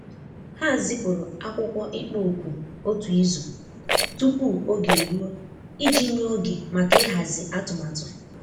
Ha zipụrụ akwụkwọ ịkpọ òkù otu izu tupu oge eruo iji nye oge maka ịhazi atumatu.